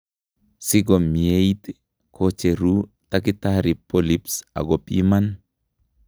Sikomieit kocheru takitari polyps akobiman